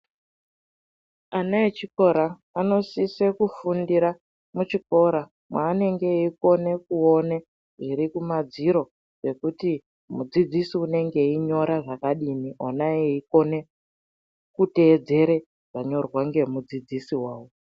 Ana echikora anosisa kufundira muchikora manenge eiona zviri mumadziro zvekuti mudzidzisi unenge eiona anokona kutedzera zvanyorwa ngemudzidzisi wake.